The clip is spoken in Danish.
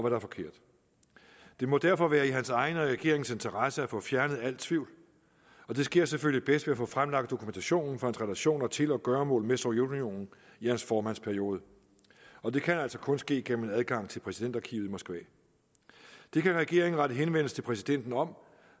er forkert det må derfor være i hans egen og i regeringens interesse at få fjernet al tvivl og det sker selvfølgelig bedst ved at få fremlagt dokumentationen for hans relationer til og gøremål med sovjetunionen i hans formandsperiode og det kan altså kun ske gennem adgang til præsidentarkivet i moskva det kan regeringen rette henvendelse til præsidenten om